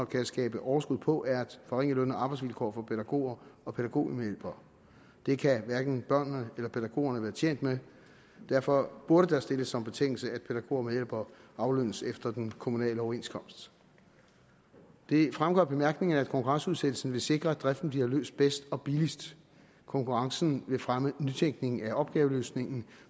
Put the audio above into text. kan skabe overskud på er at forringe løn og arbejdsvilkår for pædagoger og pædagogmedhjælpere det kan hverken børnene eller pædagogerne være tjent med og derfor burde der stilles som betingelse at pædagogmedhjælpere aflønnes efter den kommunale overenskomst det fremgår af bemærkningerne at konkurrenceudsættelsen vil sikre at driften bliver løst bedst og billigst konkurrencen vil fremme nytænkningen af opgaveløsningen